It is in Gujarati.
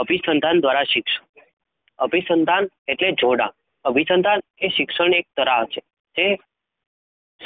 અભિસનતાન, દ્રારા સિકશ, અભિસનતાન એક જોડાણ અભિસનતાન શિક્ષણ એક કરાર છે? તે